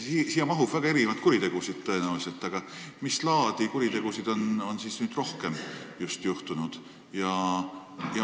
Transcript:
Siia alla mahub tõenäoliselt väga erinevaid kuritegusid, aga mis laadi kuritegusid on siis nüüd rohkem olnud?